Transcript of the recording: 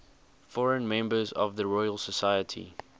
foreign members of the royal society